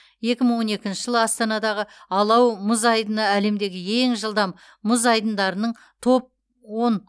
екі мың он екінші жылы астанадағы алау мұз айдыны әлемдегі ең жылдам мұз айдындарының топ он